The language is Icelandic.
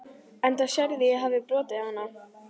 Enda sérðu að ég hefi brotið hana.